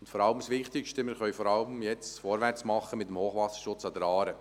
Und das Wichtigste: Wir können jetzt vor allem vorwärts machen mit dem Hochwasserschutz an der Aare.